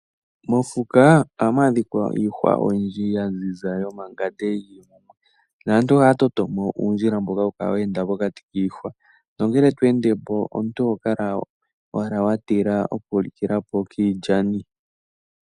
Mofuka ohamu adhika iihwa oyindji ya ziza yomangande yi li mumwe. Naantu ohaya toto mo uundjila mboka hawu kala we enda mokati kiihwa nongele to ende po omuntu oho kala owala wa tila okulikila po kiilyani.